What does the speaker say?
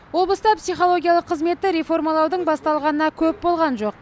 облыста психологиялық қызметті реформалаудың басталғанына көп болған жоқ